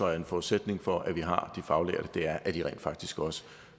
er en forudsætning for at vi har de faglærte er at de rent faktisk også